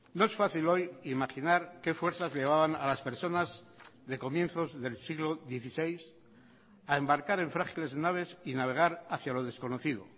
no es fácil hoy imaginar qué fuerzas llevaban a las personas de comienzos del siglo dieciséis a embarcar en frágiles naves y navegar hacia lo desconocido